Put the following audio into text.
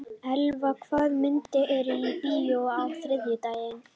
Elva, hvaða myndir eru í bíó á þriðjudaginn?